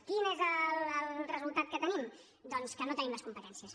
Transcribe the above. quin és el resultat que tenim doncs que no en tenim les competències